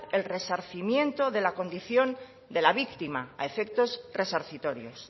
el resarcimiento de la condición de la víctima a efectos resarcitorios